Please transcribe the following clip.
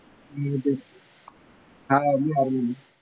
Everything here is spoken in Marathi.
हां बिहारमध्ये.